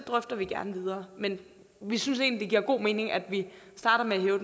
drøfter vi gerne videre men vi synes egentlig det giver god mening at man starter med at hæve